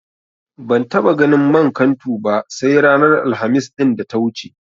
Ban taɓa ganin man kantu ba sai ranar Alhamis ɗin da ta wuce.